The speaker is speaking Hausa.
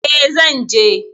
E, zan je.